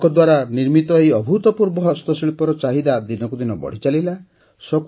ତାଙ୍କ ଦ୍ୱାରା ନିର୍ମିତ ଏହି ଅଭୁତପୂର୍ବ ହସ୍ତଶିଳ୍ପର ଚାହିଦା ଦିନକୁ ଦିନ ବଢ଼ିଚାଲିଲା